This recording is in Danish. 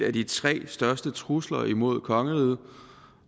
af de tre største trusler imod kongeriget